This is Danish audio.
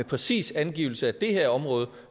præcis angivelse af det